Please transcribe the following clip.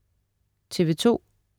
TV2: